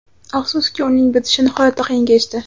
Afsuski, uning bitishi nihoyatda qiyin kechdi.